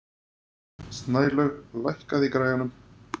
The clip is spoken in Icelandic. Snælaug, lækkaðu í græjunum.